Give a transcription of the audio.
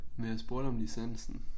Men jeg spurgte om licensen